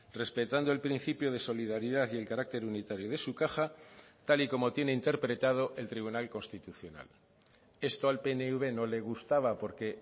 respetando el principio de solidaridad y el carácter unitario de su caja tal y como tiene interpretado el tribunal constitucional esto al pnv no le gustaba porque